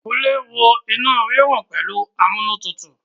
Kúnlé wo inú rírun pẹ̀lú amúnútutù